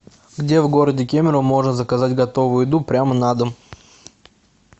где в городе кемерово можно заказать готовую еду прямо на дом